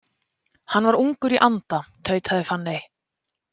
Hann var ungur í anda, tautaði Fanney.